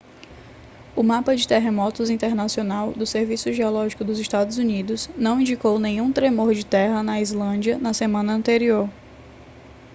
o mapa de terremotos internacional do serviço geológico dos estados unidos não indicou nenhum tremor de terra na islândia na semana anterior